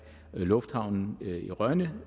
lufthavnen i rønne